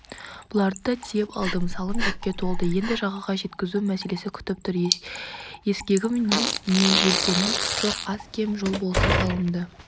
бұларды да тиеп алдым салым жүкке толды енді жағаға жеткізу мәселесі күтіп тұр ескегім не желкенім жоқ аз-кем жел болса салымды